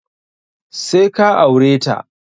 Sai ka aure ta!